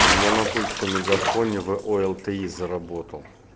у меня на тульском мегафоне в олти заработал